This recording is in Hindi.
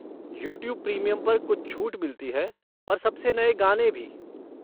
यूट्यूब प्रीमियम पर कुछ छूट मिलती है और सबसे नए गाने भी।